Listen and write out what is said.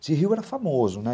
Esse rio era famoso, né?